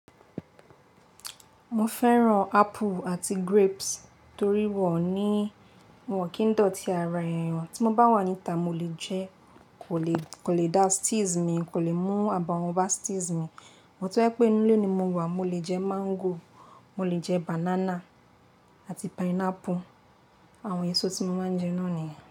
Mo fẹ́ràn apple àti grapes torí wọ́n o ní wọ́n kìí dọ̀tí ara èèyàn, tí mo bá wà níta mo lè jẹ ẹ́, kò lè, kò lè dá sties mi, kò lè mú abawon ba sties mi. Sùgbón tó jépé inú'lé ni mo wà, mo lè jẹ mango, mo lè jẹ banana àti pineapple, àwọn èso tí mo máa ń jẹ náà nìyẹn.